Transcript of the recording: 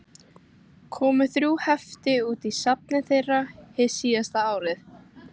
Komu þrjú hefti út í safni þeirra, hið síðasta árið